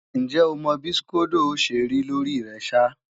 Ǹjẹ́ o mọ bí skódó ó ṣe rí lórí rẹ ṣá?